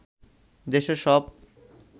দেশের সব